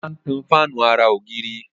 Ola ń tan Fáànù àrà ògiri.